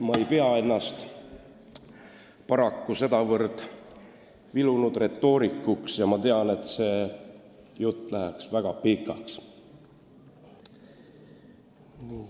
Ma ei pea ennast paraku sedavõrd vilunud retoorikuks ja ma tean, et jutt läheks muidu väga pikaks.